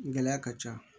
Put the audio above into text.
Gɛlɛya ka ca